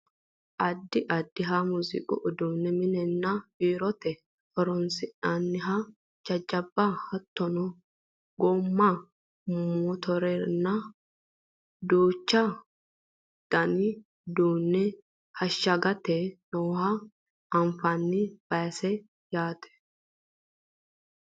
addi addiha muziiqu uduunne minenna biirote horonsi'nanniha jajjabba hattono goomma motorennihanna duuchu dani uduunne ashshagame nooha anfanni baseeti yaate .